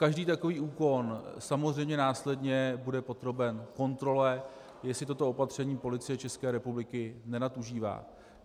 Každý takový úkon samozřejmě následně bude podroben kontrole, jestli toto opatření Policie České republiky nenadužívá.